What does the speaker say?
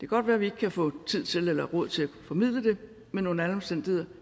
godt være vi ikke kan få tid til eller råd til at formidle det men under alle omstændigheder